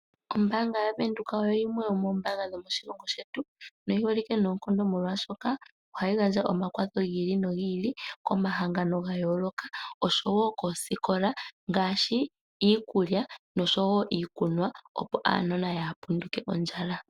Ombaanga yaVenduka oyo yimwe yomoombaanga dhomoshilongo shetu, noyi holike noonkondo molwaashoka ohayi gandja omakwatha gi ili no gi ili komahangano gayooloka osho wo koosikola, ngaashi iikulya nosho wo iikunwa, opo aanona yaa ha punduke ondjala.